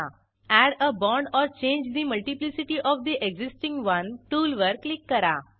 add a bond or change the multiplicity of the existing one टूलवर click करा